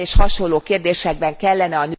Ilyen és hasonló kérdésekben kellene